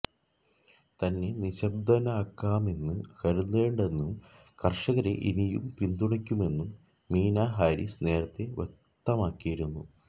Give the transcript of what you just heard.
തന്നെ നിശ്ശബ്ദയാക്കാമെന്ന് കരുതേണ്ടെന്നും കർഷകരെ ഇനിയും പിന്തുണയ്ക്കുമെന്നും മീന ഹാരിസ് നേരത്തെ വ്യക്തമാക്കിയിരുന്നു